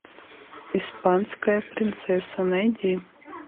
испанская принцесса найди